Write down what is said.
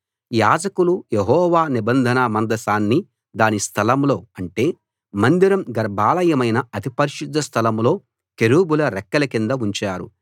యాజకులు యెహోవా నిబంధన మందసాన్ని దాని స్థలంలో అంటే మందిరం గర్భాలయమైన అతి పరిశుద్ధ స్థలం లో కెరూబుల రెక్కల కింద ఉంచారు